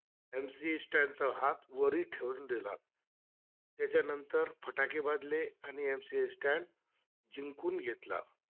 MC Stand चा हातवरी ठेवून दिल त्याच्यानंतर फटाके वाजले आणि MC Stand जिंकून घेतला